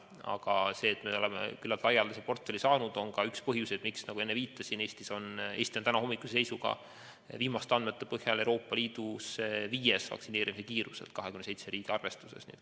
Aga see, et me oleme küllaltki laia portfelli saanud, on üks põhjuseid, miks, nagu ma enne viitasin, Eesti on tänahommikuse seisuga ehk viimaste andmete põhjal Euroopa Liidus vaktsineerimise kiiruselt 27 riigi arvestuses viies.